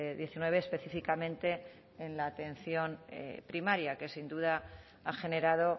diecinueve específicamente en la atención primaria que sin duda ha generado